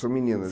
São meninas.